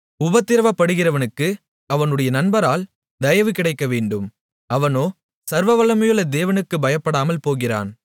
உபத்திரவப்படுகிறவனுக்கு அவனுடைய நண்பரால் தயவு கிடைக்கவேண்டும் அவனோ சர்வவல்லமையுள்ள தேவனுக்குப் பயப்படாமல் போகிறான்